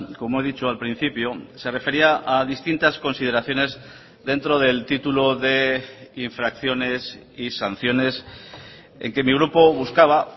como he dicho al principio se refería a distintas consideraciones dentro del título de infracciones y sanciones en que mi grupo buscaba